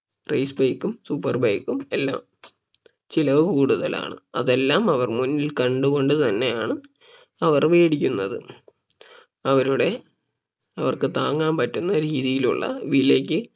race bike ഉം super bike ഉം എല്ലാം ചിലവ് കൂടുതലാണ് അതെല്ലാം അവർ മുന്നിൽ കണ്ട് കൊണ്ട് തന്നെയാണ് അവർ വേടിക്കുന്നത് അവരുടെ അവർക്ക് താങ്ങാൻ പറ്റുന്ന രീതിയിലുള്ള വിലയ്ക്ക്